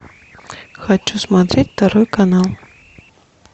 хочу смотреть второй канал